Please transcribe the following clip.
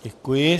Děkuji.